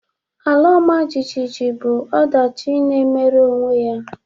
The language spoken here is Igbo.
Ala ọmajiji bụ ọdachi na-emere onwe ya